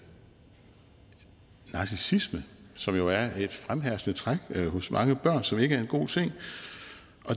narcissisme som jo er et fremherskende træk hos mange børn og som ikke er en god ting